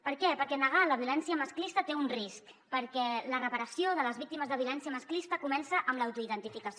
per què perquè negar la violència masclista té un risc perquè la reparació de les víctimes de violència masclista comença amb l’auto identificació